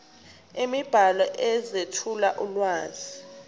imibhalo ezethula ulwazi